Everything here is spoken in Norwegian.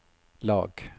lag